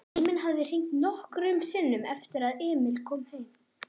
Síminn hafði hringt nokkrum sinnum eftir að Emil kom heim.